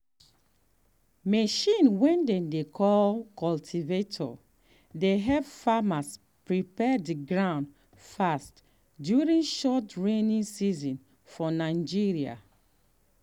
machine way dem dey call cultivator dey help farmers prepare the ground fast during short rainy season for nigeria.